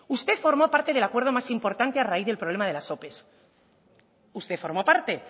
usted formó parte del acuerdo más importante a raíz del problema de las opes usted formó parte